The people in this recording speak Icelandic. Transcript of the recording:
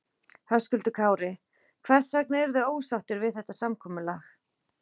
Höskuldur Kári: Hvers vegna eruð þið ósáttir við þetta samkomulag?